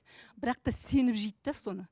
бірақ та сеніп жейді де соны